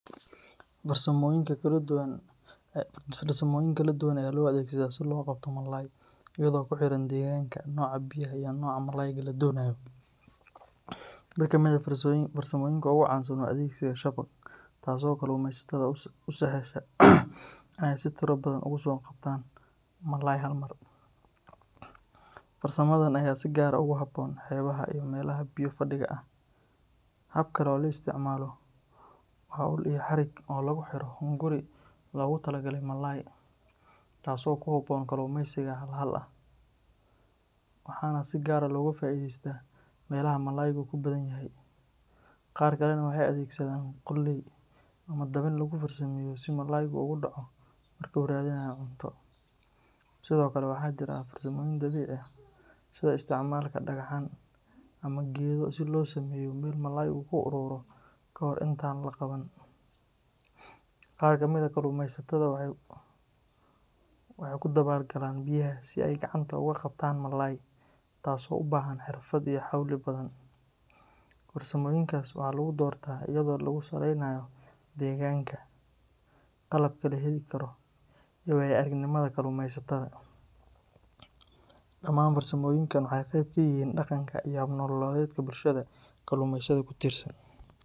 Farsamooyin kala duwan ayaa loo adeegsadaa si loo soo qabto malay, iyadoo ku xiran deegaanka, nooca biyaha iyo nooca malayga la doonayo. Mid ka mid ah farsamooyinka ugu caansan waa adeegsiga shabaag, taas oo kalluumaysatada u sahasha inay si tiro badan ugu soo qabtaan malay hal mar. Farsamadan ayaa si gaar ah ugu habboon xeebaha iyo meelaha biyo-fadhiga ah. Hab kale oo la isticmaalo waa ul iyo xarig lagu xiro hunguri loogu talagalay malay, taas oo ku habboon kalluumaysiga hal hal ah, waxaana si gaar ah looga faa’iidaystaa meelaha malaygu ku badan yahay. Qaar kalena waxay adeegsadaan qoolley ama dabin lagu farsameeyo si malaygu ugu dhaco marka uu raadinayo cunto. Sidoo kale, waxaa jira farsamooyin dabiici ah sida isticmaalka dhagxaan ama geedo si loo sameeyo meel malaygu ku ururo ka hor inta aan la qaban. Qaar ka mid ah kalluumaysatada waxay ku dabaal galaan biyaha si ay gacanta uga qabtaan malay, taasoo u baahan xirfad iyo xawli badan. Farsamooyinkaas waxaa lagu doortaa iyadoo lagu salaynayo deegaanka, qalabka la heli karo, iyo waayo-aragnimada kalluumaysatada. Dhammaan farsamooyinkan waxay qayb ka yihiin dhaqanka iyo hab nololeedka bulshada kalluumaysatada ku tiirsan.